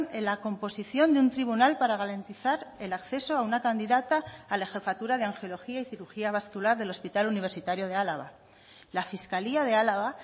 en la composición de un tribunal para garantizar el acceso a una candidata a la jefatura de angiología y cirugía vascular del hospital universitario de álava la fiscalía de álava